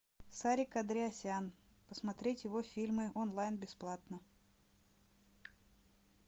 сарик андреасян посмотреть его фильмы онлайн бесплатно